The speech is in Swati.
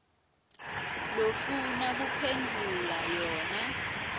lofuna kuphendvula yona